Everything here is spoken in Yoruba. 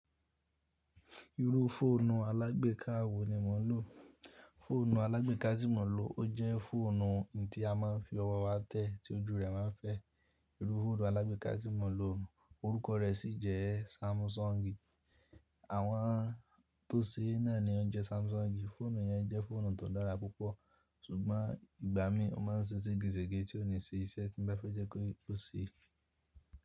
Iru fóònù alágbéka wo ni mò ń lò? Fóònù alágbéka tí mò ń lò ó jẹ́ fóònù tí a máa ń fi ọwọ́ wa tẹ́, tí ojú rẹ̀ a máa ń fẹ́. Iru fóònù alágbéka tí mò ń lò orúkọ rẹ̀ sí jẹ́ Samsung. Àwọn tó ṣe ẹ́ náà ni o jẹ́ Samsung. Fóònù yẹn jẹ́ fóònù tó dára púpọ̀, ṣùgbọ́n ìgbà mí o máa ń se sege sege tí ó ní ṣe iṣẹ́ tí mo bá fẹ́ jẹ́ kó ṣe.